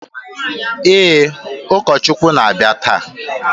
Ee, ụkọchukwu na-abịa taa